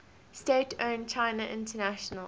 state owned china international